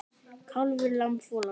Kálfur, lamb, folald.